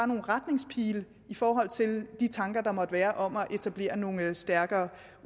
nogle retningspile i forhold til de tanker der måtte være om at etablere nogle stærkere